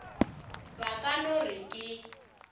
ba ka no re ke